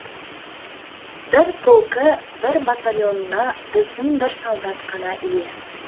бір полкі бір батальонына біздің бір солдат қана ие